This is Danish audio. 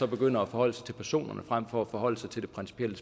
begynder at forholde sig til personerne frem for at forholde sig til det principielle